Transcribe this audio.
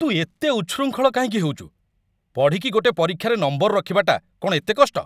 ତୁ ଏତେ ଉଚ୍ଛୃଙ୍ଖଳ କାହିଁକି ହେଉଛୁ? ପଢ଼ିକି ଗୋଟେ ପରୀକ୍ଷାରେ ନମ୍ବର ରଖିବାଟା କ'ଣ ଏତେ କଷ୍ଟ?